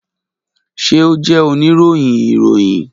Ṣe o jẹ onirohin iroyin?